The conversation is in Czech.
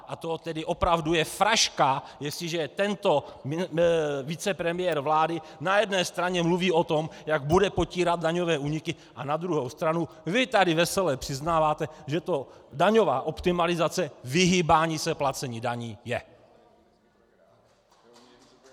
A to tedy opravdu je fraška, jestliže tento vicepremiér vlády na jedné straně mluví o tom, jak bude potírat daňové úniky, a na druhou stranu vy tady vesele přiznáváte, že to daňová optimalizace, vyhýbání se placení daní, je.